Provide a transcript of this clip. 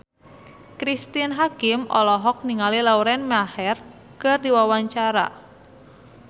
Cristine Hakim olohok ningali Lauren Maher keur diwawancara